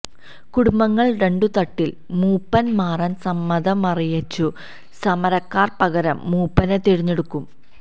കുടുംബങ്ങൾ രണ്ടുതട്ടിൽ മൂപ്പൻ മാറാൻ സമ്മതമറിയിച്ചു സമരക്കാർ പകരം മൂപ്പനെ തിരഞ്ഞെടുക്കും